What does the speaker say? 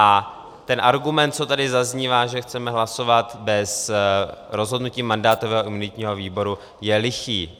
A ten argument, co tady zaznívá, že chceme hlasovat bez rozhodnutí mandátového a imunitního výboru, je lichý.